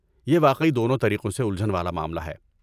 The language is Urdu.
یہ واقعی دونوں طریقوں سے الجھن والا معاملہ ہے۔